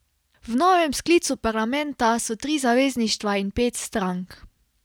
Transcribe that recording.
V novem sklicu parlamenta so tri zavezništva in pet strank.